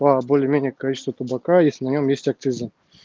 по более-менее количество табака если на нем есть акциза